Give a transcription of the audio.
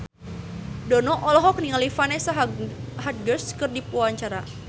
Dono olohok ningali Vanessa Hudgens keur diwawancara